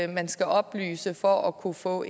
man skal oplyse for at kunne få